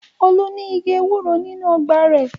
Olú ní igi ewúro nínú ọgbà rẹ̀.